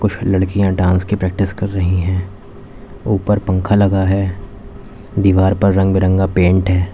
लड़कियां डांस की प्रैक्टिस कर रही है ऊपर पंखा लगा है दीवार पर रंग बिरंगा पेंट है।